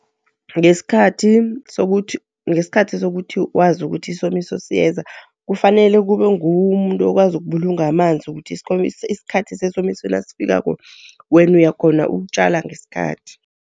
Ngesikhathi sokuthi wazi ukuthi isomiso siyeza, kufanele kube nguwe umuntu okwazi ukubulunga amanzi, ukuthi isikhathi sesomiso nasifikako wena uyakhhona ukutjala ngesikhathi.